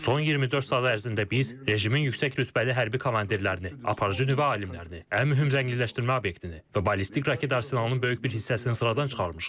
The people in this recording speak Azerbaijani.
Son 24 saat ərzində biz rejimin yüksək rütbəli hərbi komandirlərini, aparıcı nüvə alimlərini, ən mühüm zənginləşdirmə obyektini və ballistik raket arsenalının böyük bir hissəsini sıradan çıxarmışıq.